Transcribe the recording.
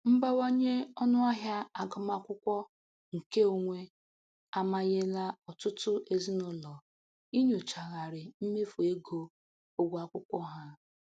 Mbawanye ọnụahịa agụmakwụkwọ nke onwe amanyela ọtụtụ ezinụlọ inyochagharị mmefo ego ụgwọ akwụkwọ ha.